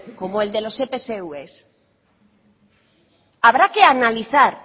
como el de los epsv habrá que analizar